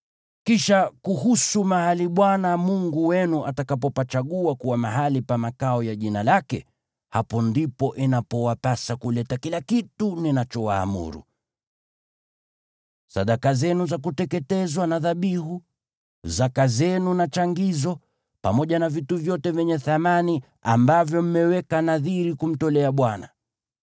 Kisha kuhusu mahali Bwana Mungu wenu atakapopachagua kuwa mahali pa makao ya Jina lake, hapo ndipo inapowapasa kuleta kila kitu ninachowaamuru: sadaka zenu za kuteketezwa na dhabihu, zaka zenu na changizo, pamoja na vitu vyote vyenye thamani ambavyo mmeweka nadhiri kumtolea Bwana .